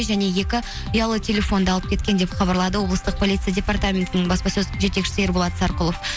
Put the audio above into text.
және екі ұялы телефонды алып кеткен деп хабарлады облыстық полиция департаментінің баспасөз жетекшісі ерболат сарқұлов